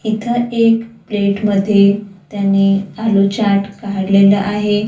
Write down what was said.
इथं एक प्लेट मध्ये त्यांनी आलू चाट काढलेला आहे.